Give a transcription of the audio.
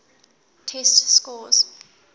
test scores